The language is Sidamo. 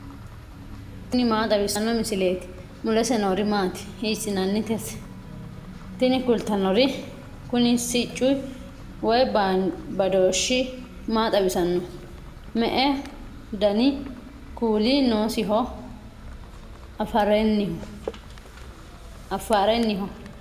tini maa xawissanno misileeti ? mulese noori maati ? hiissinannite ise ? tini kultannori kuni sicci woy badooshshi maa xawisannoho me''eu dani kuuli noosiho afarenniho ?